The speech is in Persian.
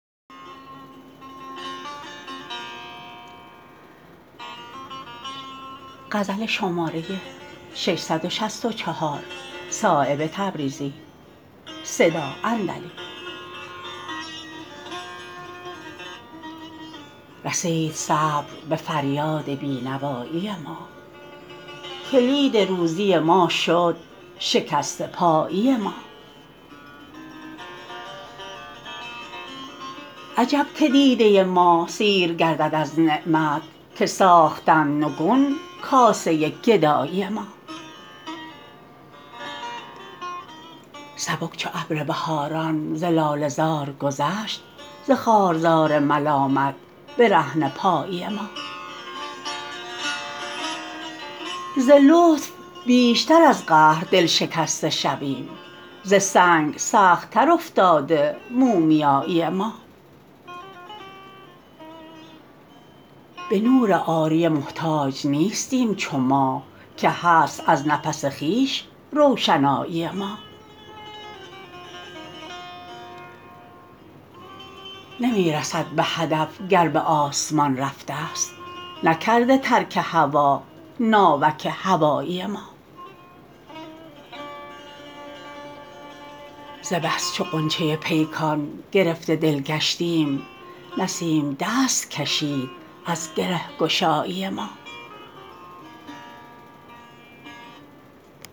رسید صبر به فریاد بینوایی ما کلید روزی ما شد شکسته پایی ما عجب که دیده ما سیر گردد از نعمت که ساختند نگون کاسه گدایی ما سبک چو ابر بهاران ز لاله زار گذشت ز خارزار ملامت برهنه پایی ما ز لطف بیشتر از قهر دلشکسته شویم ز سنگ سخت تر افتاده مومیایی ما به نور عاریه محتاج نیستیم چو ماه که هست از نفس خویش روشنایی ما نمی رسد به هدف گر به آسمان رفته است نکرده ترک هوا ناوک هوایی ما ز بس چو غنچه پیکان گرفته دل گشتیم نسیم دست کشید از گرهگشایی ما